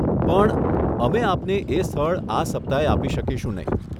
પણ અમે આપને એ સ્થળ આ સપ્તાહે આપી શકીશું નહીં.